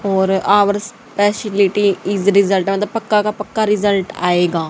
और ours facility is result मतलब पक्का पक्का रिजल्ट आएगा।